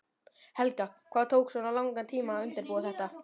Helga: Hvað tók svona langan tíma að undirbúa þetta?